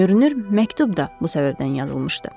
Görünür, məktub da bu səbəbdən yazılmışdı.